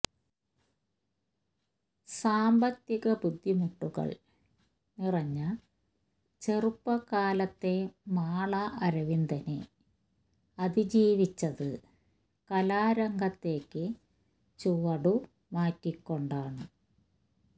സാമ്പത്തിക ബുദ്ധിമുട്ടുകള് നിറഞ്ഞ ചെറുപ്പകാലത്തെ മാള അരവിന്ദന് അതിജീവിച്ചത് കലാരംഗത്തേക്ക് ചുവടുമാറ്റിക്കൊണ്ടാണ്